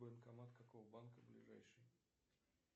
банкомат какого банка ближайший